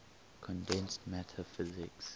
condensed matter physics